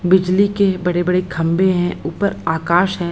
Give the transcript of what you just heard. बिजली के बड़े-बड़े खम्बे हैं उपर आकाश है।